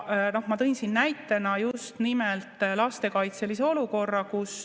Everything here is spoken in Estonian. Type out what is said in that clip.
Ma tõin siin näitena just nimelt lastekaitselise olukorra.